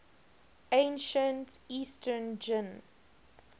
ancient eastern jin